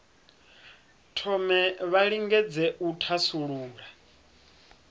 thome vha lingedze u thasulula